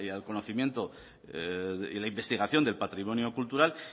y al conocimiento y la investigación del patrimonio cultural